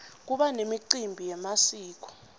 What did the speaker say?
kuba nemicimbi yemasiko